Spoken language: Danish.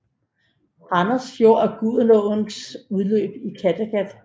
Randers Fjord er Gudenåens udløb i Kattegat